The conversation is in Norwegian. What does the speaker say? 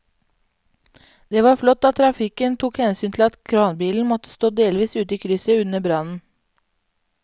Det var flott at trafikken tok hensyn til at kranbilen måtte stå delvis ute i krysset under brannen.